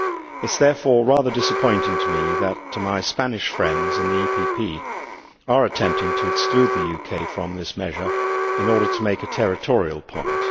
It is therefore rather disappointing to me that my Spanish friends in the PPE Group are attempting to exclude the UK from this measure in order to make a territorial point.